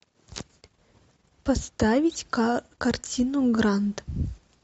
поставить картину грант